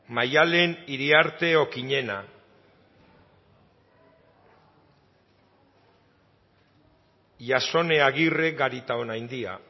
maddalen iriarte okiñena jasone agirre garitaonandia